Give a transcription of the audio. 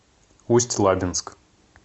усть лабинск